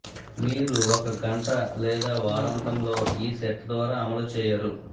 మీరు ఒక గంట లేదా వారాంతంలో ఈ సెట్ ద్వారా అమలు చేయరు